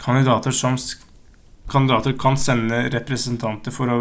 kandidater kan sende representanter for å